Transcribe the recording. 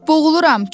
Boğuluram!